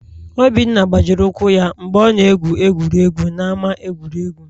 Obinna gbajiri ụkwụ ya mgbe ọ na-egwu egwuregwu n'ama egwuregwu